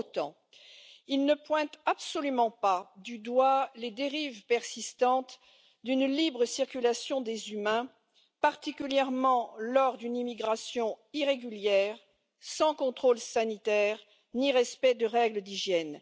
Pour autant, il ne pointe absolument pas du doigt les dérives persistantes d'une libre circulation des humains, particulièrement lors d'une immigration irrégulière, sans contrôle sanitaire ni respect des règles d'hygiène.